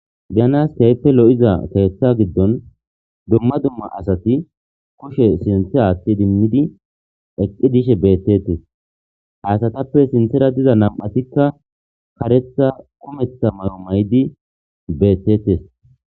Be7anas keehippe lo7iza keeththaa giddon dumma dumma asathi kushe sinththe aaththi idimmidi eqqi dishe beeththeesththes;ha asathappe sinththera diza nam7athikka kareththa kumeththa mayuwa mayidi beeththeeththees.